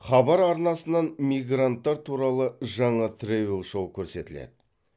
хабар арнасынан мигранттар туралы жаңа тревел шоу көрсетіледі